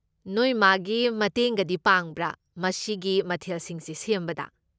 ꯅꯣꯏ ꯃꯥꯒꯤ ꯃꯇꯦꯡꯒꯗꯤ ꯄꯥꯡꯕ꯭ꯔꯥ ꯃꯁꯤꯒꯤ ꯃꯊꯦꯜꯁꯤꯡꯁꯦ ꯁꯦꯝꯕꯗ?